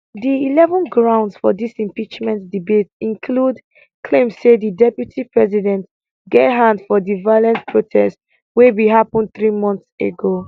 di eleven grounds for dis impeachment debate include claim say di deputy president get hand for di violent protest wey bin happun three months ago